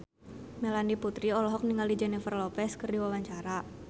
Melanie Putri olohok ningali Jennifer Lopez keur diwawancara